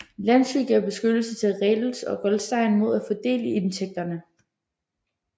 Lansky gav beskyttelse til Reles og Goldstein mod at få del i indtægterne